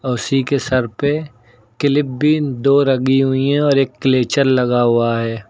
औसी के सर पे क्लिप भी दो लगी हुई है और एक क्लेचर लगा हुआ है।